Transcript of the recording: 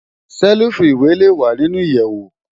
Sèlifú iwé lé wá ninú iyèwó